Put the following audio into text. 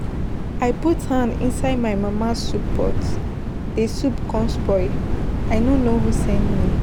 I put hand inside my mama soup pot, the soup come spoil. I no know who send me.